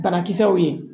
Banakisɛw ye